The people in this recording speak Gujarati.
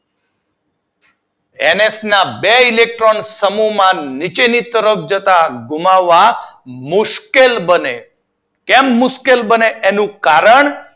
એન એચ બે ઇલેક્ટ્રોન સમૂહમાં નીચેની તરફ જતાં ગુમાવવા મુશ્કેલ બને. કેમ મુશ્કેળ બને તેનું કારણ